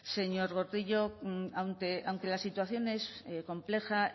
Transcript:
señor gordillo aunque la situación es compleja